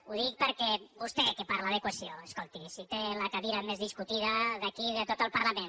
ho dic perquè vostè què parla de cohesió escolti si té la cadira més discutida d’aquí de tot el parlament